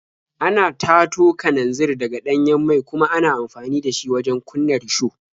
Ana tato kananzir daga ɗanyen mai kuma ana amfani da shi wajen kunna risho.